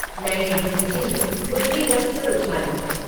मैंने गुच्ची में गुल्ली रखकर उछली।